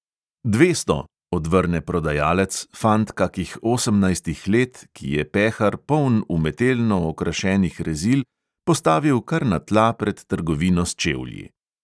"Dvesto!" odvrne prodajalec, fant kakih osemnajstih let, ki je pehar, poln umetelno okrašenih rezil, postavil kar na tla pred trgovino s čevlji.